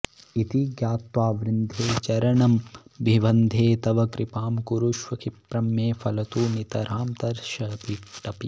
इति ज्ञात्वा वृन्दे चरणमभिवन्दे तव कृपां कुरुष्व क्षिप्रं मे फलतु नितरां तर्षविटपी